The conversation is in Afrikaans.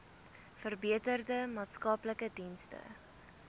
verbeterde maatskaplike dienste